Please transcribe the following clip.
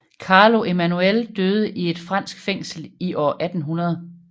Carlo Emanuel døde i et fransk fængsel i år 1800